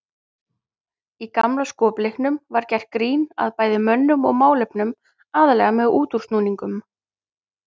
Í gamla skopleiknum var gert grín að bæði mönnum og málefnum aðallega með útúrsnúningum.